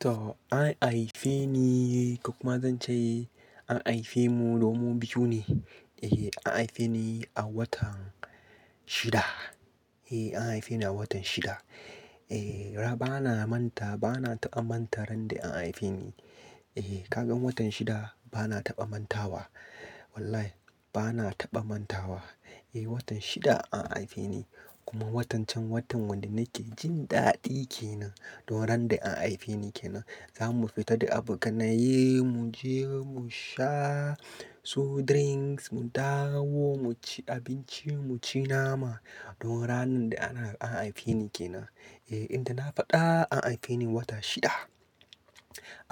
To an haife ni ko kuma zan ce an haife mu domin biyu ne. Eh an haife ni a watan shida. Eh an haife ni a watan shida. Eh ran bana manta bana taɓa manta ran da an haife ni. Eh ka gan watan shida bana taɓa manta wa. Wallahi bana taɓa manta wa. Eh watan shida an haife ni kuma watan can watan wanda nake jin daɗi ke nan don ran da an haife ni ke nan. Za mu fita da abokanaye mu je mu sha su drinks mu dawo mu ci abinci mu ci nama. Don ranar da an haife ni ke nan. Eh inda na faɗa an haife ni a wata shida.